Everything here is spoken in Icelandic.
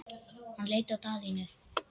Hann leit á Daðínu.